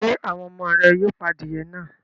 Ṣé àwọn ọmọ rẹ yóò pa adìẹ náà?